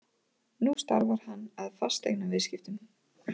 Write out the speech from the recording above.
Nú starfar hann að fasteignaviðskiptum.